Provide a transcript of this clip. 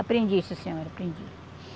Aprendi, sim senhora, aprendi.